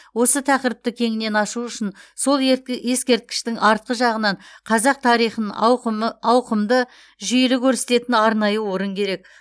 осы тақырыпты кеңінен ашу үшін сол ескерткіштің артқы жағынан қазақ тарихын ауқымды жүйелі көрсететін арнайы орын керек